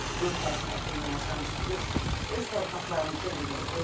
Yurd həsrəti ilə yaşamışıq ki, öz torpaqlarımıza gedək.